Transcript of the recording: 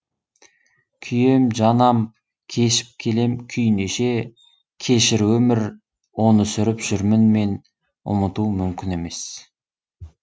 күйем жанам кешіп келем күй неше кешір өмір оны сүріп жүрмін мен ұмыту мүмкін емес